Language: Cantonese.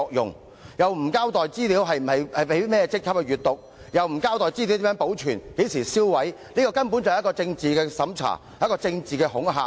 警方沒有交代甚麼職級的警員會查閱有關資料，也沒有交代如何保存及何時銷毀資料，這根本是政治審查及政治恐嚇。